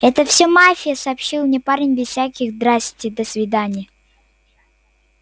это всё мафия сообщил мне парень без всяких здрасьте досвидания